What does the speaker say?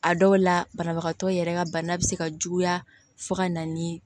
A dɔw la banabagatɔ yɛrɛ ka bana bɛ se ka juguya fo ka na ni